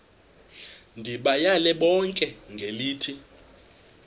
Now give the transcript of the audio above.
ndibayale bonke ngelithi